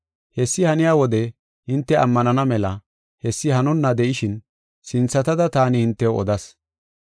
Hessi haniya wode hinte ammanana mela hessi hanonna de7ishin sinthatada taani hintew odas.